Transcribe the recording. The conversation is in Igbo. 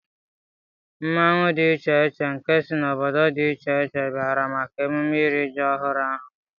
Mmanwu dị iche iche nke si na obodo dị iche iche bịara maka emume írì ji ọhụrụ ahụ